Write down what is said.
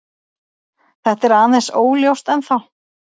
Þetta er aðeins óljóst ennþá.